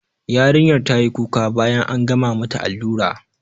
Yarinyar tayi kuka bayan an gama mata allura